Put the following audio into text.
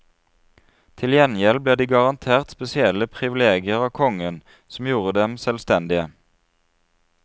Til gjengjeld ble de garantert spesielle privilegier av kongen som gjorde dem selvstendige.